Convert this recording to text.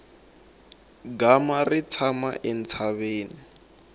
gama ri tshama entshaveni